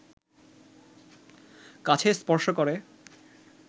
কাছে স্পর্শ করে